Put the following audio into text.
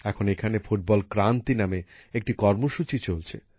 এখন এখানে ফুটবল ক্রান্তি নামে একটি কর্মসূচি চলছে